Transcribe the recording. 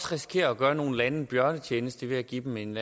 risikere at gøre nogle lande en bjørnetjeneste ved at give dem en